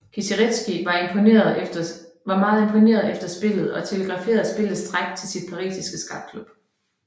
Kieseritzky var meget imponeret efter spillet og telegraferede spillets træk til sin parisiske skakklub